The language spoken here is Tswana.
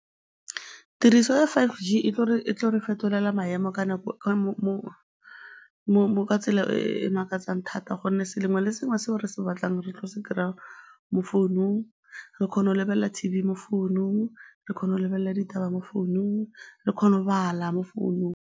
Tiriso ya five G e lo re fetolela maemo ka tsela e makatsang thata gonne le sengwe se re se batlang re tlo se kry-a mo founung, re kgona go lebelela T_V mo founung, re kgona go lebelela ditaba mo founung, re kgona go bala mo founung.